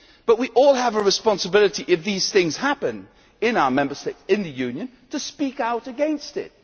But we all have a responsibility if these things happen in our Member State in the Union to speak out against